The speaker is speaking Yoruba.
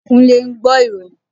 Kúnlé ń gbọ́ ìròyìn